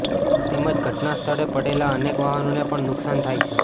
તેમજ ઘટના સ્થળે પડેલા અનેક વાહનોને પણ નુકસાન થાય છે